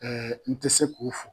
n tɛ se k'o fo